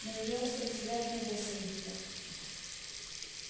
но её острый взгляд не был сердитым